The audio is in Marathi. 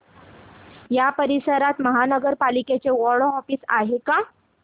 या परिसरात महानगर पालिकेचं वॉर्ड ऑफिस आहे का